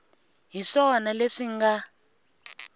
hi swona leswi swi nga